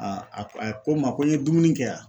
a ko a ko n ma ko n ye dumuni kɛ ?